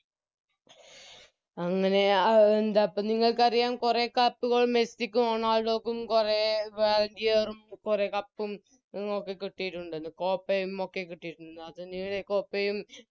A എന്താപ്പോം നിങ്ങൾക്കറിയാം കൊറേ Cup കളും മെസ്സിക്കും റൊണാൾഡോക്കും കൊറേ വാ ഗിയറും കൊറേ Cup ഒക്കെ കിട്ടിട്ടുണ്ടെന്ന് Copa യും ഒക്കെ കിട്ടിട്ടുണ്ടെന്ന് അത് Copa യും